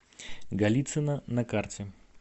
голицыно на карте